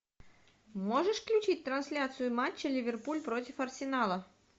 можешь включить трансляцию матча ливерпуль против арсенала